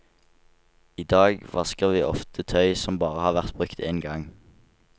I dag vasker vi ofte tøy som bare har vært brukt én gang.